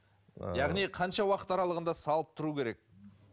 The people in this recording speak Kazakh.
ыыы яғни қанша уақыт аралығында салып тұру керек